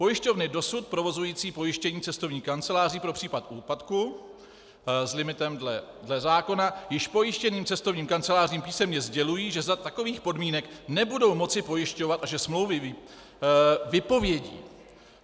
Pojišťovny dosud provozující pojištění cestovních kanceláří pro případ úpadku s limitem dle zákona již pojištěným cestovním kancelářím písemně sdělují, že za takových podmínek nebudou moc pojišťovat a že smlouvy vypovědí.